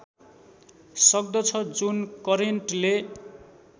सक्दछ जुन करेन्टले